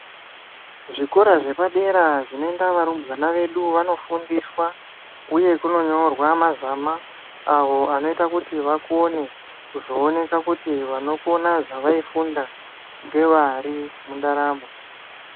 Zvikora zvepadera zvinoenda varumbwana vedu vanofundiswa uye kunonyorwa mazama awo anoita kuti akona kuzoeneka kuti vaikona zvaaifunda ngeari mundaramo.